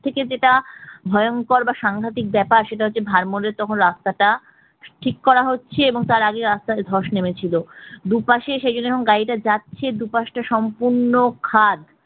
থেকে যেটা ভয়ঙ্কর বা সাংঘাতিক ব্যাপার সেটা হচ্ছে ভারমরের তখন রাস্তাটা ঠিক করা হচ্ছে এবং তার আগে রাস্তায় ধর্ষ নেমেছিল দুপাশে যে গাড়িটা যাচ্ছে দুপাশটা সম্পূর্ণ খাদ